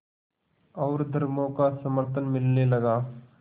और धर्मों का समर्थन मिलने लगा